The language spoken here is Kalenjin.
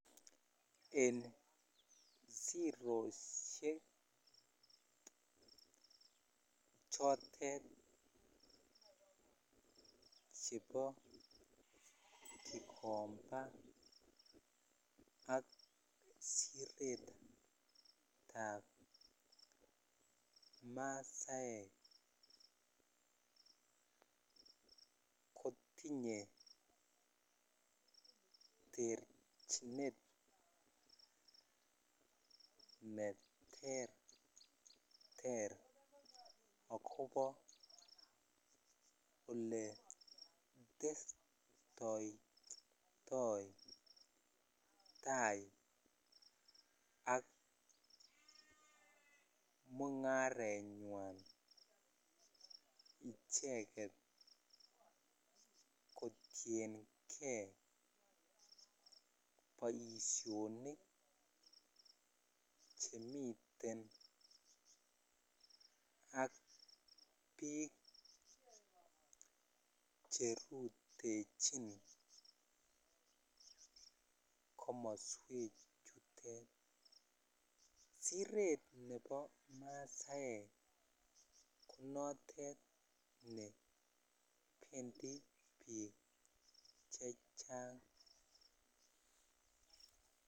En siroshek chotet chebo gikomba ak siret ab masaek kotinye terchinet neterter akobo oletestoitoi tai ak mungarenywan kotuenkei boishonik chemiten ak biik cherutechin komoswek chutet siret nebo masaek ko notet bendi biik chechang.